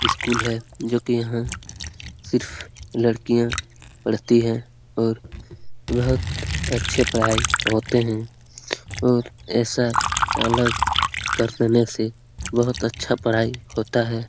School है जो कि यहां सिर्फ लड़कियां पढ़ती है और बहुत अच्छे पढ़ाई होते है और ऐसा अलग कर देने से बहुत अच्छा पढ़ाई होता है।